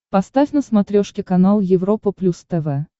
поставь на смотрешке канал европа плюс тв